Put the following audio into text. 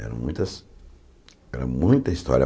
Eram muitas. Era muita história